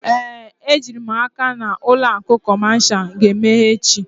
Ee, ejiri m n'aka na ụlọ akụ kọmashal ga-emeghe echi.